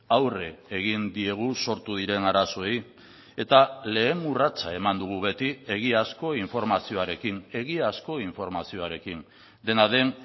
aurre egin diegu sortu diren arazoei eta lehen urratsa eman dugu beti egiazko informazioarekin egiazko informazioarekin dena den